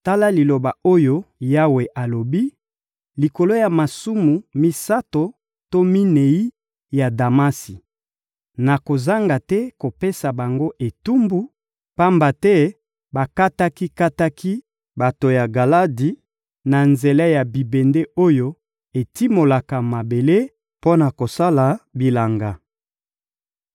Tala liloba oyo Yawe alobi: «Likolo ya masumu misato to minei ya Damasi, nakozanga te kopesa bango etumbu, pamba te bakataki-kataki bato ya Galadi na nzela ya bibende oyo etimolaka mabele mpo na kosala bilanga.